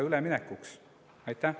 Aitäh!